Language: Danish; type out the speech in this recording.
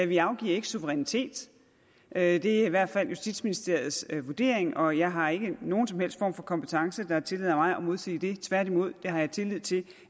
vi afgiver ikke suverænitet det er i hvert fald justitsministeriets vurdering og jeg har ikke nogen som helst form for kompetence der tillader mig at modsige det tværtimod tillid til